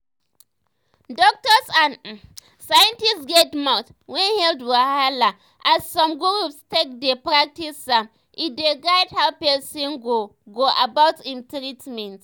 doktors and um scientists get mouth when health wahala as some groups take dey practice am e dey guide how pesin go go about im treatment.